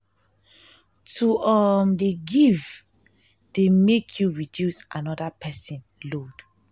to um dey give dey make you reduce anoda pesin load.